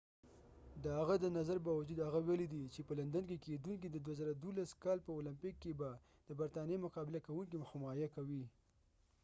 د هغه د نظر باوجود هغه ويلی دي چې په لندن کې کېدونکې د 2012 کال په اولمپک کې به د برطانیې مقابله کوونکې حمایه کوي